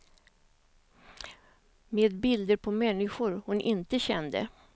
Med bilder på människor hon inte kände.